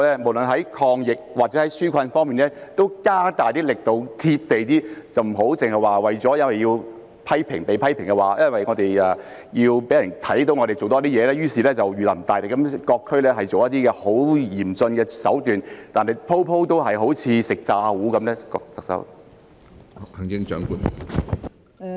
無論在抗疫或紓困方面都加大力度、"貼地"一點，不要只是因為被批評，因為要讓市民看到我們多做事，於是就如臨大敵，在各區採取一些很嚴峻的手段，但每次都好像"食詐糊"般呢？